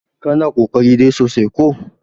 kana ƙoƙarin dai sosai ko!